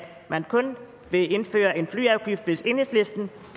man kun vil indføre en flyafgift hvis enhedslisten